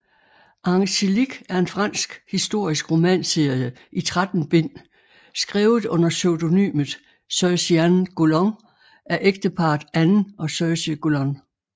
Angélique er en fransk historisk romanserie i 13 bind skrevet under pseudonymet Sergéanne Golon af ægteparret Anne og Serge Golon